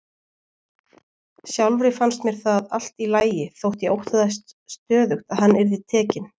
Sjálfri fannst mér það allt í lagi þótt ég óttaðist stöðugt að hann yrði tekinn.